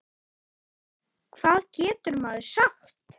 Hvað getur maður sagt?